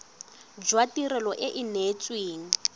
jwa tirelo e e neetsweng